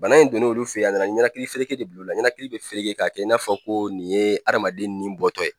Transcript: Bana in donna olu fɛ ye a nana ɲɛnakilifereke de bil'u la ɲɛnakili bɛ fereke k'a kɛ i n'a fɔ ko nin ye hadamaden ni bɔtɔ ye.